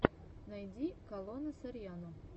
найди калона сарьяно